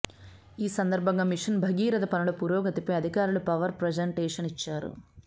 ఈ సందర్బంగా మిషన్ భగీరథ పనుల పురోగతిపై అధికారులు పవర్ ప్రజెంటేషన్ ఇచ్చారు